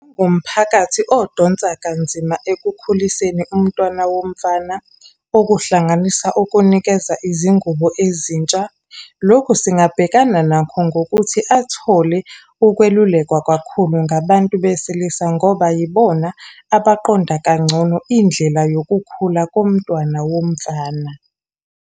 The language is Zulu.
Umphakathi odonsa kanzima ekukhuliseni umntwana womfana. Okuhlanganisa ukunikeza izingubo ezintsha. Lokhu singabhekana nakho nokuthi athole ukwelulekwa kakhulu ngabantu besilisa, ngoba yibona abaqonda kangcono indlela yokukhula komntwana womfana.